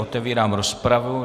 Otevírám rozpravu.